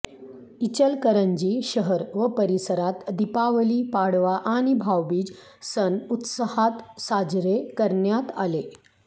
इचलकरंजी शहर व परिसरात दीपावली पाडवा आणि भाऊबीज सण उत्साहात साजरे करण्यात आले